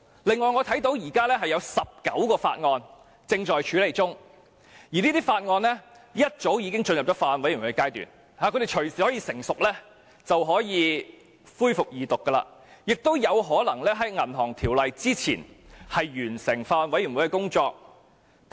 此外，我看到現時有19項法案正在處理中，早已進入了法案委員會階段，一旦成熟就隨時可以恢復二讀，亦有可能比《條例草案》更早完成法案委員會的工作。